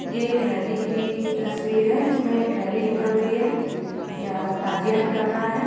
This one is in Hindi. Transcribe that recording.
ये एक रैली की तस्वीर है जिसमे एक रैली निकल रही है या ताजिया निकल रहा है।